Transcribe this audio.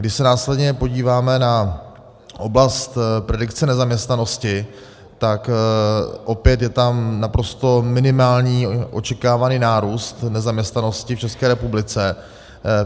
Když se následně podíváme na oblast predikce nezaměstnanosti, tak opět je tam naprosto minimální očekávaný nárůst nezaměstnanosti v České republice.